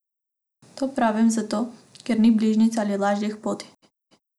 To pravim zato, ker ni bližnjic ali lažjih poti.